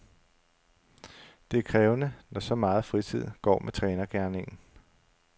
Det er krævende, når så meget fritid går med trænergerningen.